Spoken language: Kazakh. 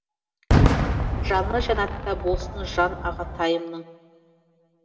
жаны жәннатта болсын жан ағатайымның